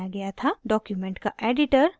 document का editor